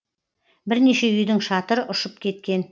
бірнеше үйдің шатыры ұшып кеткен